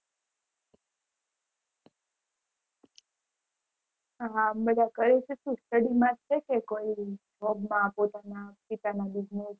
હા મેં વાત કરી હતી study માટે કોઈ છે job માં પોતાના કે business